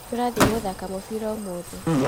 Tũrathiĩ gũthaka mũbira ũmũthĩ